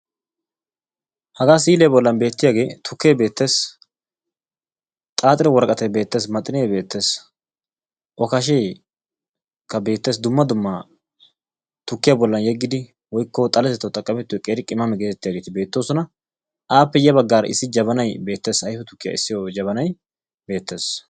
Hagaa si'iya bollan beettiyagee tukkee beettees. Xaaxetta woraqatay beettees. Maxinee beettes. Okasheekka beettees. Dumma dumma tukkiyaa bollan yeggidi woyikko xaletettawu xaqqamettiyo qeeri qimame geetettiyageeti beettoosona. Aappe ya baggaara issi jabanay beettees. Ayife tukkiyaa essiyo jabanay beettees.